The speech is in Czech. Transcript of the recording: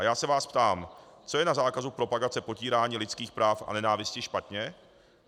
A já se vás ptám: co je na zákazu propagace potírání lidských práv a nenávisti špatně?